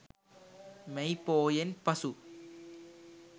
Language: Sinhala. මැයි පෝයෙන් පසු